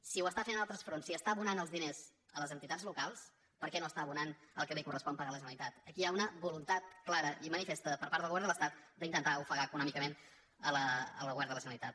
si ho està fent en altres fronts si està abonant els diners a les entitats locals per què no es·tà abonant el que li correspon pagar a la generalitat aquí hi ha una voluntat clara i manifesta per part del govern de l’estat d’intentar ofegar econòmicament el govern de la generalitat